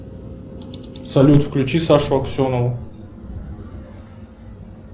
салют включи сашу аксенову